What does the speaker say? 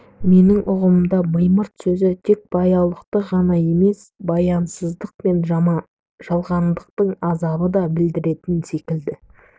менің ұғымымда мимырт сөзі тек баяулықты ғана емес баянсыздық пен жалғандықтың азабын да білдіретін секілді